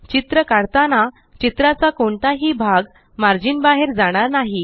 चित्र काढताना चित्राचा कोणताही भाग मार्जिन बाहेर जाणार नाही